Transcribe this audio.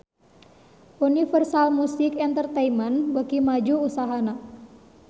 Universal Music Entertainment beuki maju usahana